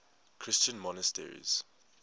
christian monasteries